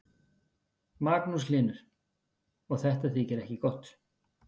Magnús Hlynur: Og þetta þykir ekki gott?